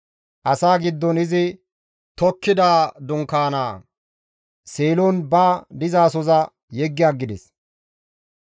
Asaa giddon izi tokkida dunkaana Seelon ba dizasoza yeggi aggides.